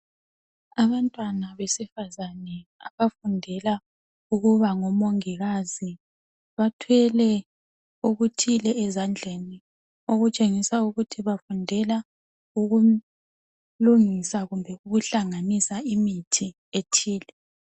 Abantwana besifazane abafundela ukuba ngomongikazi bathwele okuthile ezandleni, okutshengisa ukuthi bafundela ukulungisa kumbe ukuhlanganisa imithi ethile.